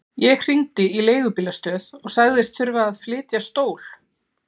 Ég hringdi í leigubílastöð og sagðist þurfa að flytja stól.